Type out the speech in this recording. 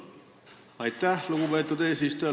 Aitäh, lugupeetud eesistuja!